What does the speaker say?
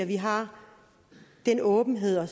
vi har den åbenhed at